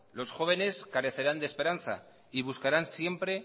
los jóvenes carecerán de esperanza y buscarán siempre